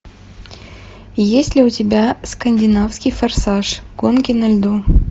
есть ли у тебя скандинавский форсаж гонки на льду